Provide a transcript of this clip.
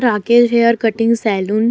Rakesh hair cutting salon --